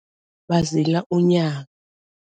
Bazila unyaka.